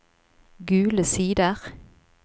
Gule Sider